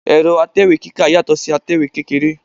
Ẹ̀rọ̀ atẹ̀wé kíkà yàtọ̀ si atẹ̀wé kékeré